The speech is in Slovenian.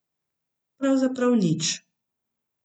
Pravzaprav nič.